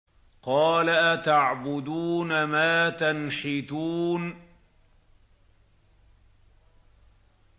قَالَ أَتَعْبُدُونَ مَا تَنْحِتُونَ